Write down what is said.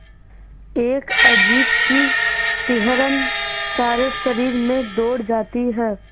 एक अजीब सी सिहरन सारे शरीर में दौड़ जाती है